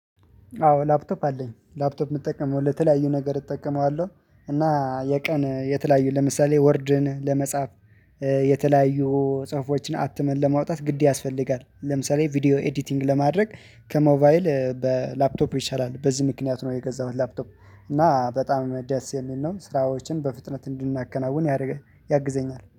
አዎ ላፕቶፕ አለኝ ላፕቶፕ የምጠቀመው ለተለያዩ ነገር እጠቀመዋለሁ እና የቀን የተለያዩ ለምሳሌ ወርድን ለመጻፍ የተለያዩ ጽሁፎችን አትመን ለማውጣት ግድ ያስፈልጋል። ለምሳሌ ቪዲዮ ኤዲቲንግ ለማድረግ ከሞባይል በላፕቶፕ ይሻላል በዚህ ምክንያት ነው የገዛሁት ላፕቶፕ። እና በጣም ደስ የሚል ነው ስራዎችን በፍጥነት እንድናከናውን ያደርጋል ያግዘኛል